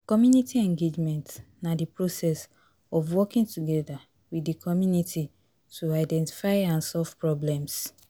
Community engagement na di process of working together with di community to identify and solve problems.